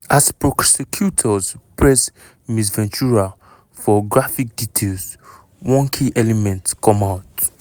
as prosecutors press ms ventura for graphic details one key element come out: